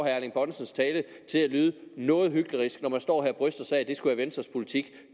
erling bonnesens tale til at lyde noget hyklerisk når man står her og bryster sig af at det skulle være venstres politik